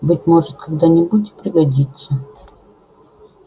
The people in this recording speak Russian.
быть может когда-нибудь и пригодится